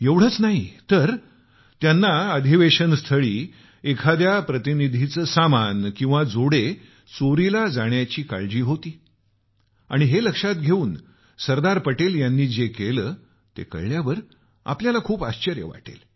एवढेच नाही तर त्यांना अधिवेशन स्थळी एखाद्या प्रतिनिधीचे सामान किंवा जोडे चोरीला जाण्याची काळजी होती आणि हे लक्षात घेऊन सरदार पटेल यांनी जे केलं ते कळल्यावर आपल्याला खूप आश्चर्य वाटेल